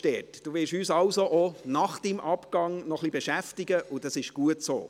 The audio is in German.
Sie werden uns demnach noch nach Ihrem Abgang etwas beschäftigen, und das ist gut so.